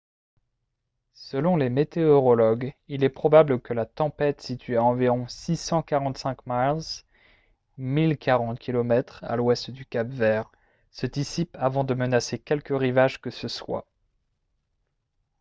selon les météorologues il est probable que la tempête située à environ 645 miles 1 040 km à l’ouest du cap-vert se dissipe avant de menacer quelque rivage que ce soit